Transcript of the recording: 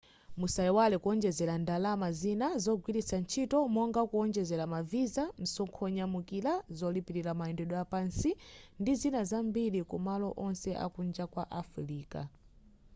musaiwale kuwonjezera ndalama zina zogwiritsa ntchito monga kuwonjezera ma visa msonkho wonyamukira zolipira mayendedwe apansi ndizina zambiri kumalo onse akunja kwa afirika